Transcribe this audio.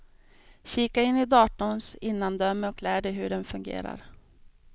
Kika in i datorns innandöme och lär dig hur den fungerar.